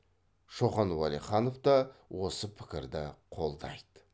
шоқан уәлиханов та осы пікірді қолдайды